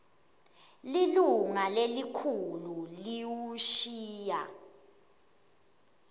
lilunga lelikhulu liwushiya